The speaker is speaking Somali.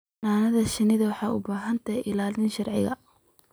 Xannaanada shinnidu waxay u baahan tahay ilaalin sharci.